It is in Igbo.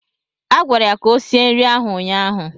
Agwara ya ka o sie nri ahụ ụnyaahụ!